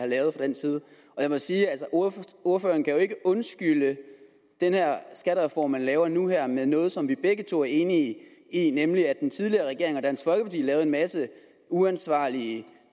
lavet fra den side jeg må sige at ordføreren jo ikke undskylde den her skattereform man laver nu her med noget som vi begge to er enige i nemlig at den tidligere regering og dansk folkeparti lavede en masse uansvarlige